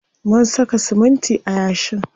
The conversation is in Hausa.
Mun saka siminti a yashin.